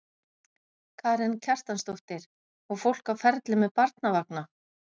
Karen Kjartansdóttir: Og fólk á ferli með barnavagna?